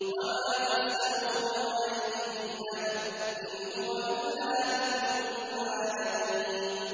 وَمَا تَسْأَلُهُمْ عَلَيْهِ مِنْ أَجْرٍ ۚ إِنْ هُوَ إِلَّا ذِكْرٌ لِّلْعَالَمِينَ